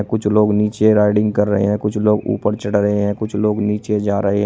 और कुछ लोग नीचे राइडिंग कर रहे हैं कुछ लोग ऊपर चढ़ रहे हैं कुछ लोग नीचे जा रहे --